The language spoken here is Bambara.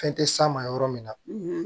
Fɛn tɛ s'a ma yɔrɔ min na